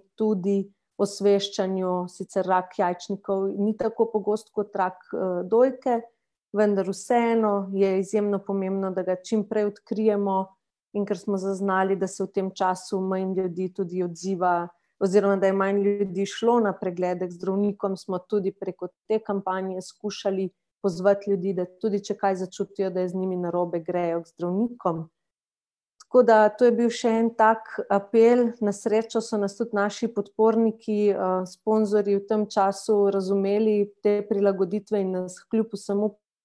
tudi osveščanju, sicer rak jajčnikov ni tako pogost kot rak dojke, vendar vseeno je izjemno pomembno, da ga čim prej odkrijemo, in kar smo zaznali, da se v tem času manj ljudi tudi odziva, oziroma da je manj ljudi šlo na preglede k zdravnikom, smo tudi preko te kampanje skušali pozvati ljudi, da tudi če kaj začutijo, da je z njimi narobe, grejo k zdravnikom. Tako da to je bil še en tak apel, na srečo so nas tudi naši podporniki sponzorji v tem času razumeli, te prilagoditve, in nas kljub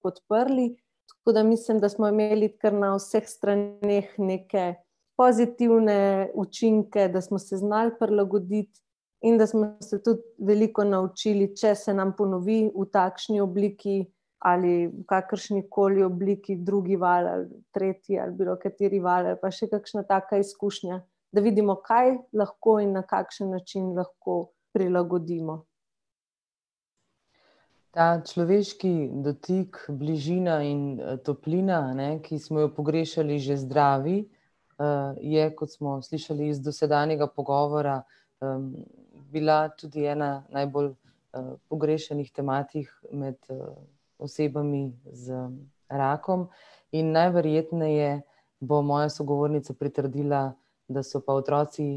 vsemu podprli tako da mislim, da smo imeli kar na vseh straneh neke pozitivne učinke, da smo se znali prilagoditi in da smo se tudi veliko naučili, če se nam ponovi v takšni obliki ali v kakršnikoli obliki drugi val ali tretji ali bilokateri val ali pa še kakšna taka izkušnja, da vidimo, kaj lahko in na kakšen način lahko prilagodimo. Ta človeški dotik, bližina in toplina, eni, ki smo jo pogrešali že zdravi, je, kot smo slišali iz dosedanjega pogovora, bila tudi ena najbolj pogrešanih tematik med osebami z rakom in najverjetneje bo moja sogovornica pritrdila, da so pa otroci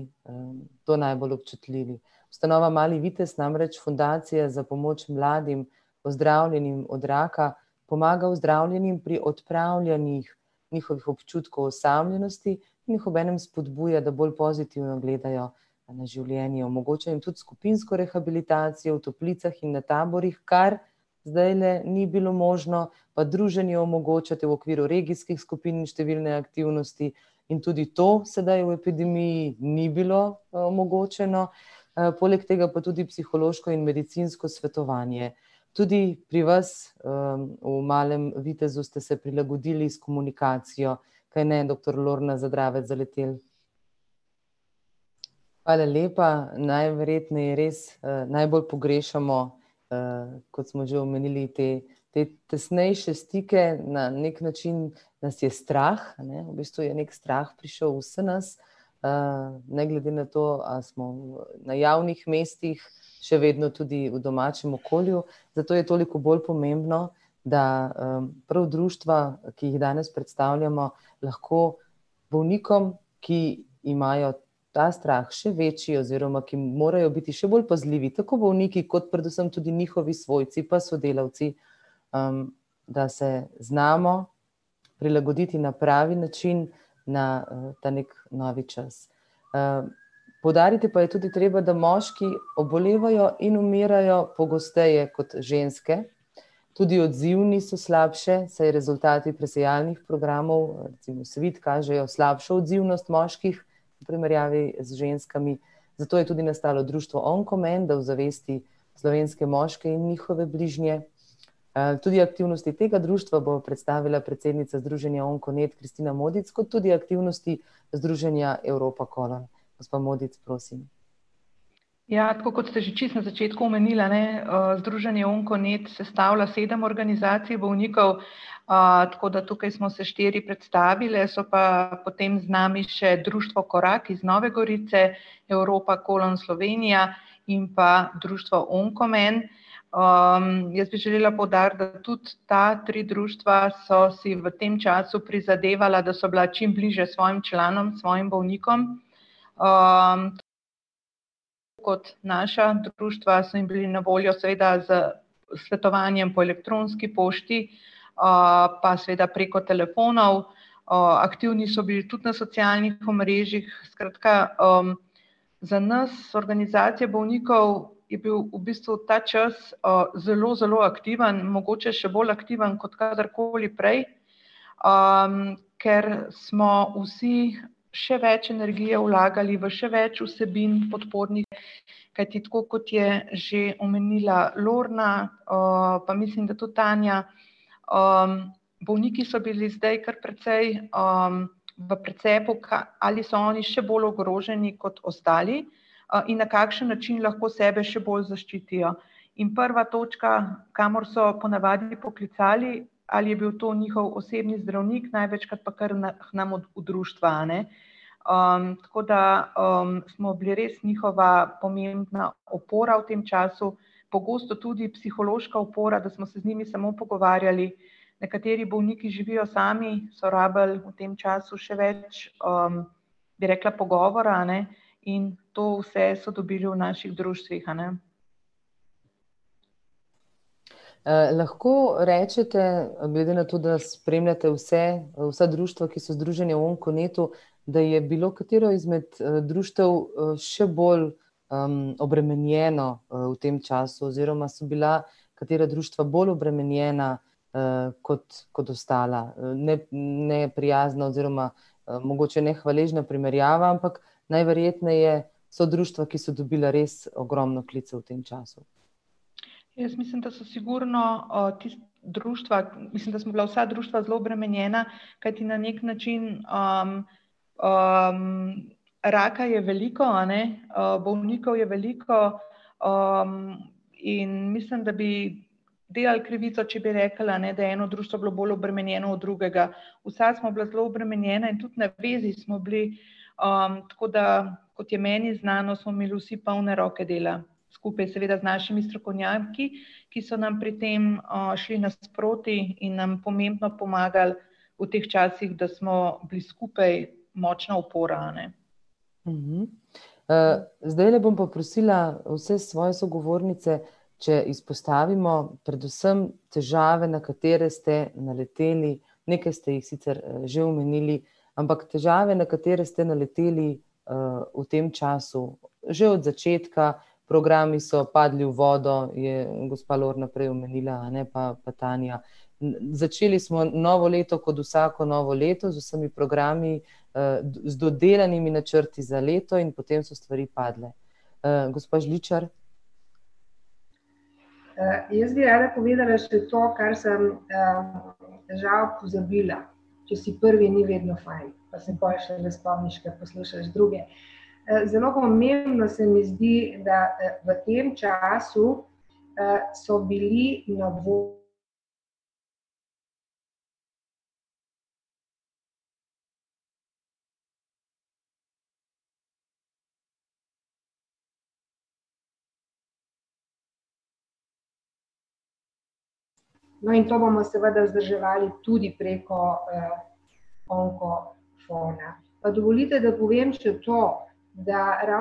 to najbolj občutljivi. Ustanova Mali vitez namreč fundacija za pomoč mladim, ozdravljenim od raka, pomaga ozdravljenim pri odpravljanjih njihovih občutkov osamljenosti in jih obenem spodbuja, da bolj pozitivno gledajo na življenje, omogoča jim tudi skupinsko rehabilitacijo v toplicah in na taborih, kar zdaj, ne, ni bilo možno, pa druženje omogočate v okviru regijskih skupin in številne aktivnosti in tudi to sedaj v epidemiji ni bilo omogočeno, poleg tega pa tudi psihološko in medicinsko svetovanje. Tudi pri vas v Malem vitezu ste se prilagodili s komunikacijo, kajne doktor [ime in priimek] ? Hvala lepa, najverjetneje res najbolj pogrešamo, kot smo že omenili, te te tesnejše stike na neki način nas je strah, a ne, v bistvu je neki strah prišel v vse nas. Ne glede na to, ali smo v, na javnih mestih, še vedno tudi v domačem okolju, zato je toliko bolj pomembno, da prav društva, ki jih danes predstavljamo, lahko bolnikom, ki imajo ta strah še večji oziroma ki morajo biti še bolj pazljivi, tako bolniki kot predvsem tudi njihovi svojci pa sodelavci, da se znamo prilagoditi na pravi način na ta neki novi čas. Poudariti pa je tudi treba, da moški obolevajo in umirajo pogosteje kot ženske, tudi odzivni so slabše, saj rezultati presejalnih programov, recimo Svit, kažejo slabšo odzivnost moških v primerjavi z ženskami, zato je tudi nastalo društvo Onkomen, da ozavesti slovenske moške in njihove bližnje. Tudi aktivnosti tega društva bo predstavila predsednica združenja Onkonet, [ime in priimek] kot tudi aktivnosti združenja Evropacolon. Gospa Modic, prosim. Ja, tako kot ste že čisto na začetku omenili, eni, Združenje Onkonet sestavlja sedem organizacij bolnikov, tako da tukaj smo se štiri predstavile, so pa potem z nami še: Društvo Korak iz Nove Gorice, Evropacolon Slovenija in pa društvo Onkomen, jaz bi želela poudariti, da tudi ta tri društva so si v tem času prizadevala, da so bila čim bližje svojim članom, svojim bolnikom, kot naša društva so jim bili na voljo seveda s svetovanjem po elektronski pošti pa seveda preko telefonov, aktivni so bili tudi na socialnih omrežjih, skratka za nas organizacije bolnikov je bil v bistvu ta čas zelo zelo aktiven, mogoče še bolj aktiven kot kadarkoli prej. Ker smo vsi še več energije vlagali v še več vsebin podpornih, kajti tako kot je že omenila Lorna, pa mislim, da tudi Tanja, bolniki so bili zdaj kar precej v precepu ali so oni še bolj ogroženi kot ostali in na kakšen način lahko sebe še bolj zaščitijo. In prva točka, kamor so ponavadi poklicali, ali je bil to njihov osebni zdravnik, največkrat pa kar k nam v društva, a ne. Tako da smo bili res njihova pomembna opora v tem času, pogosto tudi psihološka opora, da smo se z njimi samo pogovarjali. Nekateri bolniki živijo sami, so rabili v tem času še več, bi rekla, pogovora, a ne, in to vse so dobili v naših društvih, a ne. Lahko rečete, glede na to, da spremljate vse, vsa društva, ki so združeni v Onkonetu, da je bilo katero izmed društev še bolj obremenjeno v tem času oziroma so bila katera društva bolj obremenjena kot kot ostala ne, neprijazna oziroma mogoče nehvaležna primerjava, ampak najverjetneje so društva, ki so dobila res ogromno klicev v tem času. Jaz mislim, da so sigurno tista društva, mislim, da smo bila vsa društva zelo obremenjena, kajti na neki način raka je veliko, eni, bolnikov je veliko, in mislim, da bi delali krivico, če bi rekli, a ne, da je eno društvo bilo bolj obremenjeno od drugega. Vsa smo bila zelo obremenjena in tudi na vezi smo bili tako da, kot je meni znano, smo imeli vsi polne roke dela. Skupaj seveda z našimi strokovnjaki, ki so nam pri tem šli nasproti in nam pomembno pomagali v teh časih, da smo bili skupaj močna opora, a ne. Zdajle bom pa prosila vse svoje sogovornice, če izpostavimo predvsem težave, na katere ste naleteli, nekaj ste jih sicer že omenili, ampak težave, na katere ste naleteli v tem času, že od začetka. Programi so padli v vodo, je gospa Lorna prej omenila, eni pa pa Tanja. Začeli smo novo leto kot vsako novo leto, z vsemi programi, z dodelanimi načrti za leto in potem so stvari padle. Gospa Žličar. Jaz bi rada povedala še to, kar sem žal pozabila. Če si prvi, ni vedno fajn, pa se pol šele spomniš, ko poslušaš druge. Zelo pomembno se mi zdi, da v tem času so bili na ... No, in to bomo seveda vzdrževali tudi preko Onko Pa dovolite, da povem še to, da ...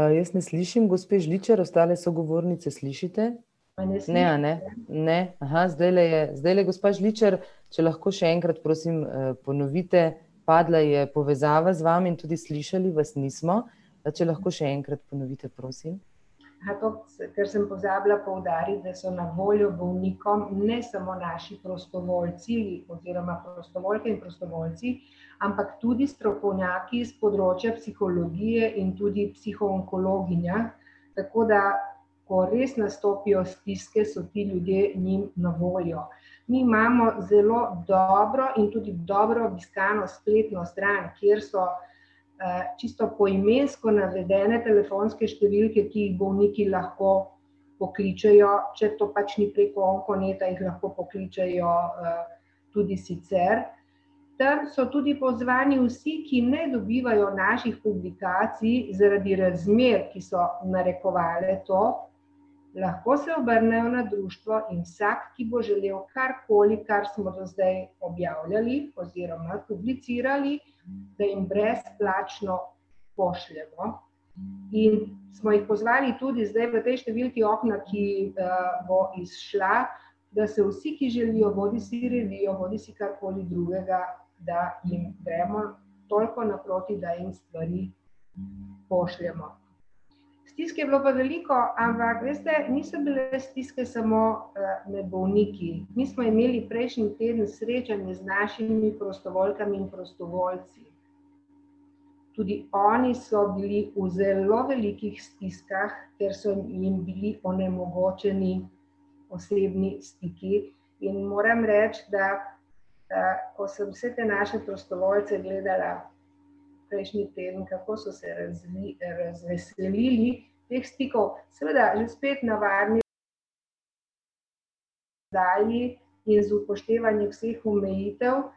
Jaz ne slišim gospe Žličar, ostale sogovornice slišite? Ne, a ne? Ne, zdajle je, zdajle gospa Žličar, če lahko še enkrat, prosim, ponovite, padla je povezava z vami in tudi slišali vas nismo. Pa če lahko še enkrat ponovite, prosim. to, kar sem pozabila poudariti, da so na voljo bolnikom, ne samo naši prostovoljci, oziroma prostovoljke in prostovoljci, ampak tudi strokovnjaki iz področja psihologije in tudi psihoonkologinja, tako da ko res nastopijo stiske, so ti ljudje njim na voljo. Mi imamo zelo dobro in tudi dobro obiskano spletno stran, kjer so čisto poimensko navedene telefonske številke, ki jih bolniki lahko pokličejo, če to pač ni preko Onkoneta in lahko pokličejo tudi sicer. Tam so tudi pozvani vsi, ki ne dobivajo naših publikacij, zaradi razmer, ki so narekovale to, lahko se obrnejo na društvo in vsak, ki bo želel karkoli, kar smo do zdaj objavljali, oziroma publicirali, da jim brezplačno pošljemo in smo jih pozvali tudi zdaj tej številki Okna, ki bo izšla, da se vsi, ki želijo bodisi revije bodisi karkoli drugega, da jim gremo toliko naproti, da jim stvari pošljemo. Stisk je bilo pa veliko, ampak veste, niso bile stiske samo med bolniki, mi smo imeli prejšnji teden srečanje z našimi prostovoljkami in prostovoljci. Tudi oni so bili v zelo velikih stiskah, ker so jim bili onemogočeni osebni stiki in moram reči, da ko sem vse te naše prostovoljce gledala prejšnji teden, kako so se razveselili teh stikov. Seveda že spet navadni in z upoštevanjem vseh omejitev.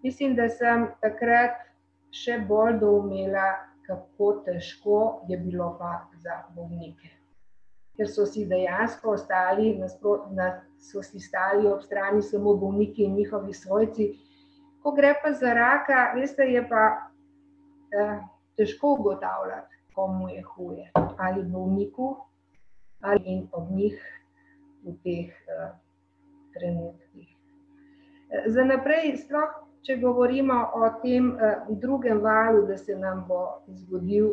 Mislim, da sem takrat še bolj doumela, kako težko je bilo pa za bolnike. Ker so si dejansko stali na, so si stali ob strani samo bolniki in njihovi svojci. Ko gre pa za raka, veste, je pa težko ugotavljati, komu je huje - ali bolniku ali ob njih v teh trenutkih. Za naprej sploh, če govorimo o tem drugem valu, da se nam bo zgodil.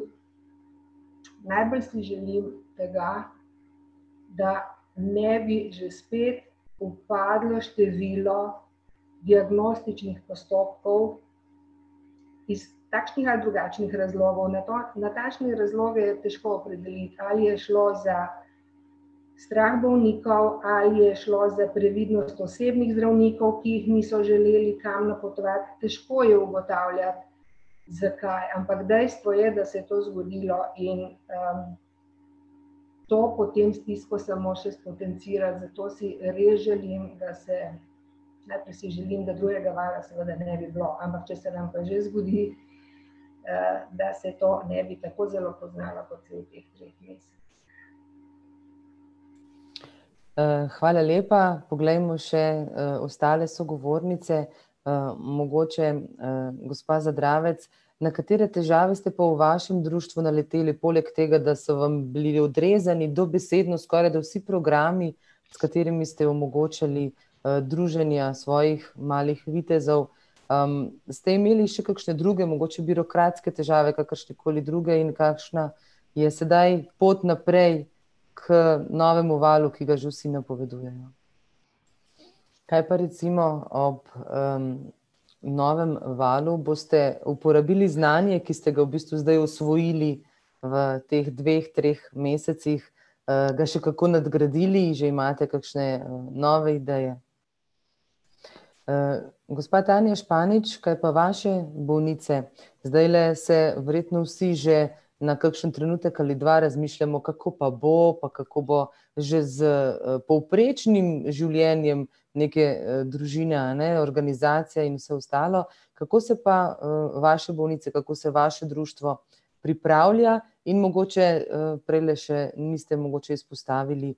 Najbolj si želim, da ga, da ne bi že spet upadlo število diagnostičnih postopkov iz takšnih ali drugačnih razlogov, natančne razloge je težko opredeliti. Ali je šlo za strah bolnikov ali je šlo za previdnost osebnih zdravnikov, ki jih niso želeli kam napotovati, težko je ugotavljati, zakaj, ampak dejstvo je, da se je to zgodilo in to potem stisko samo še spotencira, zato si res želim, da se, najprej si želim, da drugega vala seveda ne bi bilo, ampak če se nam pa že zgodi, da se to ne bi tako zelo poznalo, kot se je v teh treh mesecih. Hvala lepa, poglejmo še ostale sogovornice, mogoče gospa Zadravec, na katere težave ste pa v vašem društvu naleteli, poleg tega, da so vam bili odrezani dobesedno skorajda vsi programi, s katerimi ste omogočali druženja svojih malih vitezov? Ste imeli še kakšne druge mogoče birokratske težave, kakršnekoli druge in kakšna je sedaj pot naprej k novemu valu, ki ga že vsi napovedujejo? Kaj pa recimo ob novem valu boste uporabili znanje, ki ste ga v bistvu zdaj osvojili v teh dveh, treh mesecih, ga še kako nadgradili, že imate kakšne nove ideje? Gospa [ime in priimek] , kaj pa vaše bolnice? Zdajle se verjetno vsi že na kakšen trenutek ali dva razmišljamo, kako pa bo, kako bo že s povprečnim življenjem neke družine, a ne, organizacije in vse ostalo. Kako se pa vaše bolnice, kako se vaše društvo pripravlja? In mogoče prejle še niste mogoče izpostavili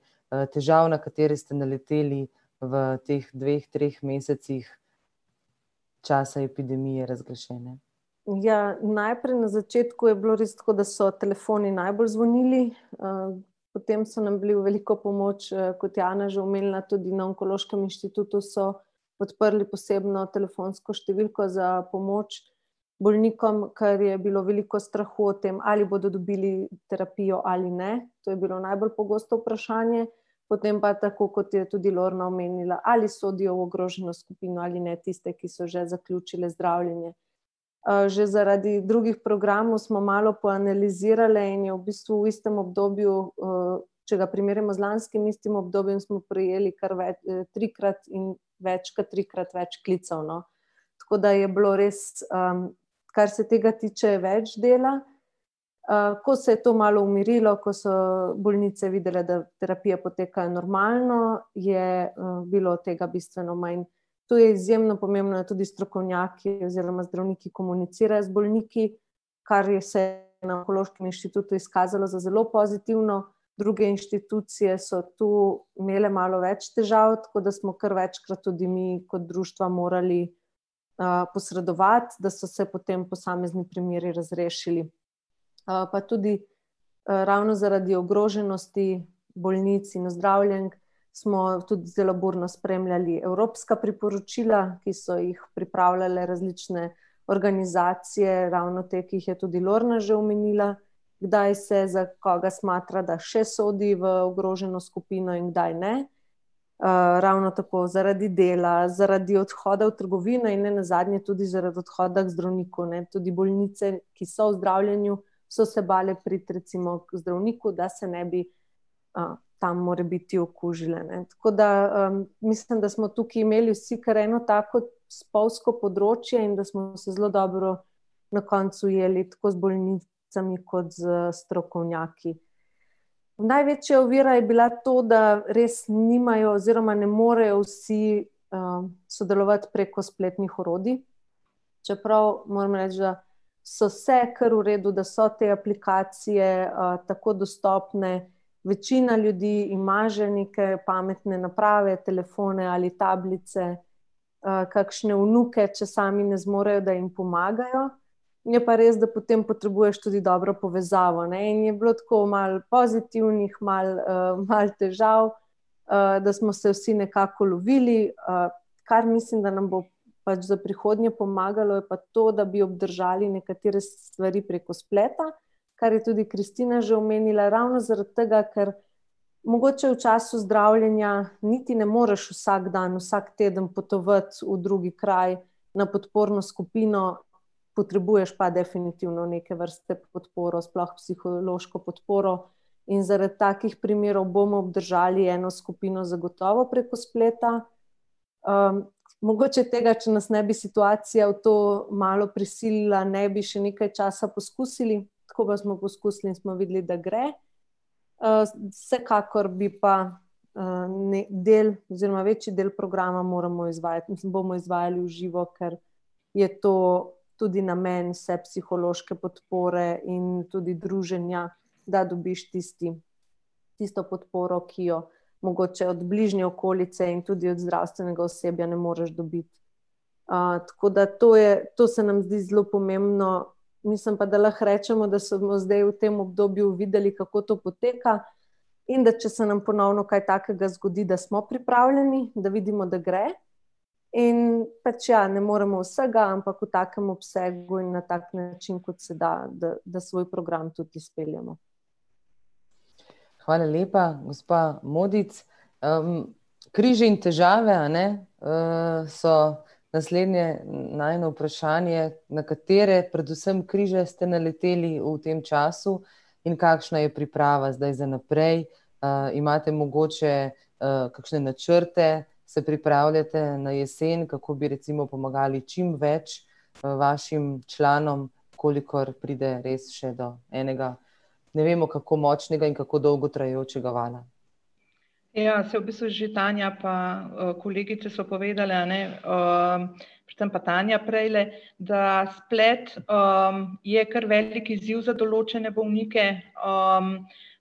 težav, na katere ste naleteli v teh dveh, treh mesecih časa epidemije razglašene. Ja, najprej na začetku je bilo res tako, da so telefoni najbolj zvonili potem so nam bili v veliko pomoč kot je Ana že omenila, tudi na onkološkem inštitutu so odprli posebno telefonsko številko za pomoč bolnikom, kar je bilo veliko strahu o tem, ali bodo dobili terapijo ali ne, to je bilo najbolj pogosto vprašanje. Potem pa tako, kot je tudi Lorna omenila, ali sodijo v ogroženo skupino ali ne, tiste, ki so že zaključile zdravljenje. Že zaradi drugih programov smo malo poanalizirale in je v bistvu v istem obdobju če ga primerjamo z lanskim istim obdobjem, smo prejeli kar trikrat in več kot trikrat več klicev, no. Tako da je bilo res kar se tega tiče, več dela, ko se je to malo umirilo, ko so bolnice videle, da terapije potekajo normalno, je bilo tega bistveno manj. Tu je izjemno pomembno, da tudi strokovnjaki oziroma zdravniki komunicirajo z bolniki, kar je se na onkološkem inštitutu izkazalo za zelo pozitivno, druge inštitucije so tu imele malo več težav, tako da smo kar večkrat tudi mi kot društva morali posredovati, da so se potem posamezni primeri razrešili. Pa tudi ravno zaradi ogroženosti bolnic in ozdravljenk smo tudi zelo burno spremljali evropska priporočila, ki so jih pripravljale različne organizacije, ravno te, ki jih je tudi Lorna že omenila, kdaj se za koga smatra, da še sodi v ogroženo skupino in kdaj ne. Ravno tako zaradi dela, zaradi odhoda v trgovine in nenazadnje tudi zaradi odhoda k zdravniku, ne, tudi bolnice, ki so v zdravljenju, so se bale priti recimo k zdravniku, da se ne bi tam morebiti okužile, ne, tako da mislim, da smo tukaj imeli vsi kar eno tako spolzko področje in da smo zdaj zelo dobro na koncu ujeli, tako z bolnicami kot z strokovnjaki. Največja ovira je bila to, da res nimajo oziroma ne morejo vsi sodelovati preko spletnih orodij, čeprav moram reči, da so se kar v redu, da so te aplikacije tako dostopne, večina ljudi ima že neke pametne naprave, telefone ali tablice, kakšne vnuke, če sami ne zmorejo, da jim pomagajo. Je pa res, da potem potrebuješ tudi dobro povezavo, ne, in je bilo tako malo pozitivnih malo malo težav, da smo se vsi nekako ulovili kar mislim, da nam bo pač za prihodnje pomagalo, je pa to, da bi obdržali nekatere stvari preko spleta, kar je tudi Kristina že omenila, ravno zaradi tega, ker mogoče v času zdravljenja niti ne moreš vsak dan, vsak teden potovati v drugi kraj, na podporno skupino, potrebuješ pa definitivno neke vrste podporo, sploh psihološko podporo. In zaradi takih primerov bomo obdržali eno skupino zagotovo preko spleta mogoče tega, če nas ne bi situacija v to malo prisilila, ne bi še nekaj časa poskusili, tako pa smo poskusili in smo videli, da gre. Vsekakor bi pa del oziroma večji del programa pa moramo izvajati, mislim bomo izvajali v živo, ker je to tudi namen vse psihološke podpore in tudi druženja, da dobiš tisti, tisto podporo, ki jo mogoče od bližnje okolice in tudi od zdravstvenega osebja ne moreš dobiti. Tako da to je, to se nam zdi zelo pomembno, mislim pa, da lahko rečemo, da smo zdaj v tem obdobju videli, kako to poteka, in da če se nam ponovno kaj takega zgodi, da smo pripravljeni, da vidimo, da gre in pač, ja, ne moremo vsega, ampak v takem obsegu in na tak način, kot se da, da da svoj program tudi izpeljemo. Hvala lepa, gospa Modic. Križi in težave, a ne, so naslednje najino vprašanje, na katere, predvsem križe ste naleteli v tem času in kakšna je priprava zdaj za naprej, imate mogoče kakšne načrte, se pripravljate na jesen, kako bi recimo pomagali čim več vašim članom, v kolikor pride res še do enega, ne vemo, kako močnega in kako dolgo trajajočega vala. Ja, saj v bistvu je že Tanja pa kolegice so povedale, a ne, tam pa Tanja prejle, da splet je kar velik izziv za določene bolnike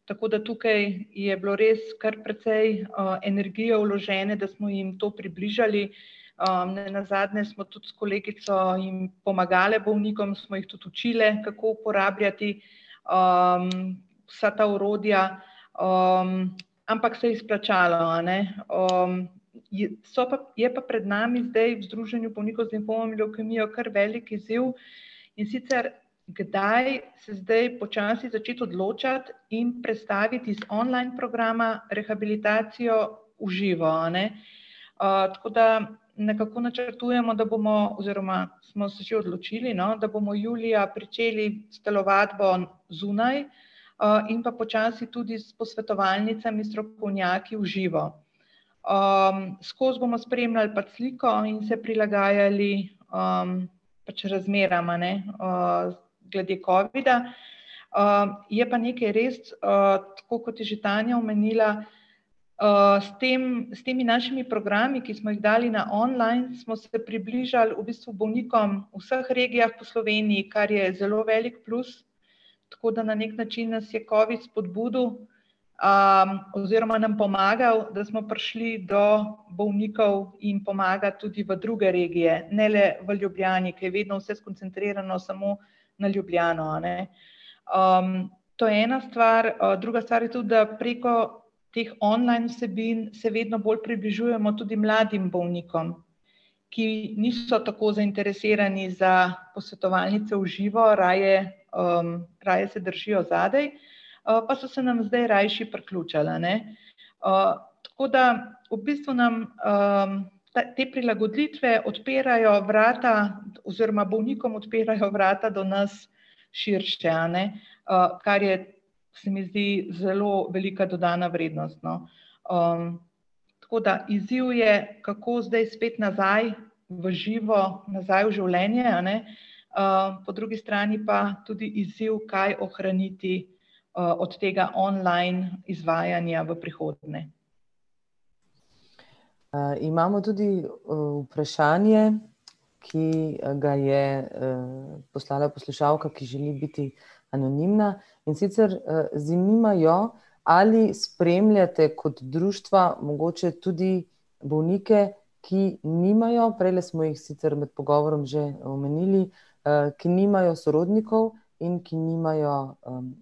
tako da tukaj je bilo res kar precej energije vložene, da smo jim to približali. Nenazadnje smo tudi s kolegico jim pomagale, bolnikom, smo jih tudi učile, kako uporabljati vsa ta orodja ampak se je splačalo, a ne. so pa, je pa pred nami zdaj v Združenju bolnikov z limfomom in levkemijo kar velik izziv, in sicer, kdaj se zdaj počasi začeti odločati in prestaviti iz online programa rehabilitacijo v živo, a ne. Tako da nekako načrtujemo, da bomo oziroma smo se že odločili, no, da bomo julija pričeli s telovadbo zunaj. In pa počasi tudi s posvetovalnicami, strokovnjaki v živo. Skoz bomo spremljali pač sliko in se prilagajali pač razmeram, a ne glede covida. Je pa nekaj res, tako kot je že Tanja omenila, s tem, s temi našimi programi, ki smo jih dali na online, smo se približali v bistvu bolnikom v vseh regijah po Sloveniji, kar je zelo velik plus, tako da na neki način nas je covid spodbudil oziroma nam pomagal, da smo prišli do bolnikov in pomagati tudi v druge regije, ne le v Ljubljani, ker je vedno vse skoncentrirano samo na Ljubljano, a ne. To je ena stvar, druga stvar je to, da preko teh online vsebin se vedno bolj približujemo tudi mladim bolnikom, ki niso tako zainteresirani za posvetovalnicee v živo, raje raje se držijo zadaj pa so se nam zdaj rajši priključili, a ne. Tako da v bistvu nam te prilagoditve odpirajo vrata oziroma bolnikom odpirajo vrata do nas širše a ne, kar je, se mi zdi, zelo velika dodana vrednost, no. Tako da izziv je, kako zdaj spet nazaj v živo, nazaj v življenje, a ne po drugi strani pa tudi izziv, kaj ohraniti od tega online izvajanja v prihodnje. Imamo tudi vprašanje, ki ga je poslala poslušalka, ki želi biti anonimna. In sicer, zanima jo, ali spremljate kot društva mogoče tudi bolnike, ki nimajo, prejle smo jih sicer med pogovorom že omenili, ki nimajo sorodnikov in ki nimajo